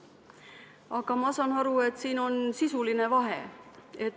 Aga ma saan aru, et siin on sisuline vahe.